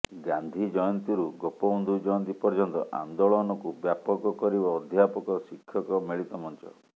ଗାନ୍ଧୀଜୟନ୍ତୀରୁ ଗୋପବନ୍ଧୁ ଜୟନ୍ତୀ ପର୍ଯ୍ୟନ୍ତ ଆନ୍ଦୋଳନକୁ ବ୍ୟାପକ କରିବ ଅଧ୍ୟାପକ ଶିକ୍ଷକ ମିଳିତ ମଞ୍ଚ